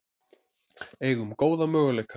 Eigum góða möguleika